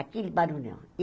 Aquele barulhão.